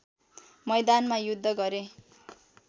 मैदानमा युद्ध गरे